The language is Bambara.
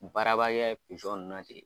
Baarabaliya ye nunnu na ten.